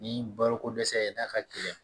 Ni baloko dɛsɛ ye n'a ka gɛlɛn